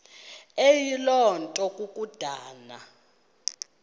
eyiloo nto kukodana